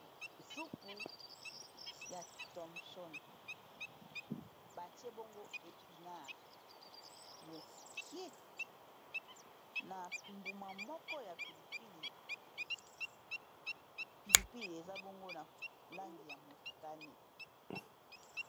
Supu ya thomson batie bongo epinare mokie na mbuma moko ya pili pili, pilipili eza bongo na langi ya motane.